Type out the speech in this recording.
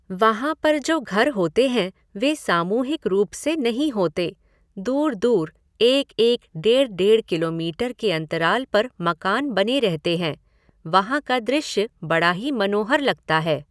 वहाँ पर जो घर होते हैं वे सामूहिक रूप से नहीं होते, दूर दूर एक एक डेढ़ डेढ़ किलोमीटर के अंतराल पर मकान बने रहते हैं, वहाँ का दृश्य बड़ा ही मनोहर लगता है।